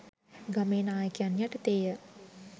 ගමේ නාකයන් යටතේ ය